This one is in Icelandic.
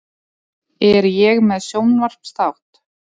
Er ég með sjónvarpsþátt?